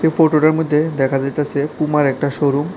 ফটোটার মধ্যে দেখা যাইতাসে পুমার একটা শোরুম ।